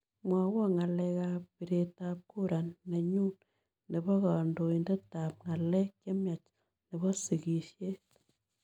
Mwawon ng'alekap pireetap kura nenyun ne po kandoiindeptap ng'aleek chemyach ne po sikiisyet